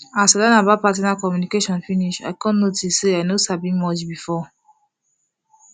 as i learn about partner communication finish i come notice say i no sabi much before